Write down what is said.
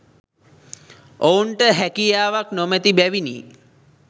ඔවුන්ට හැකියාවක් නොමැති බැවිනි.